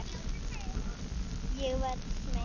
Ég verð smeyk.